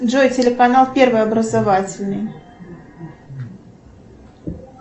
джой телеканал первый образовательный